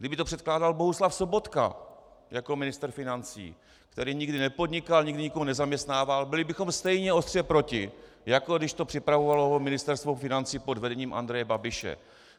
Kdyby to předkládal Bohuslav Sobotka jako ministr financí, který nikdy nepodnikal, nikdy nikoho nezaměstnával, byli bychom stejně ostře proti, jako když to připravovalo Ministerstvo financí pod vedením Andreje Babiše.